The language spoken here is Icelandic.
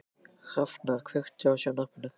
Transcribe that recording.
Hrafnar, kveiktu á sjónvarpinu.